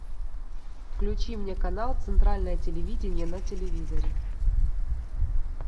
включи мне канал центральное телевидение на телевизоре